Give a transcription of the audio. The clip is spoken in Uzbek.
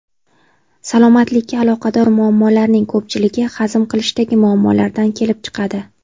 Salomatlikka aloqador muammolarning ko‘pchiligi hazm qilishdagi muammolardan kelib chiqadi.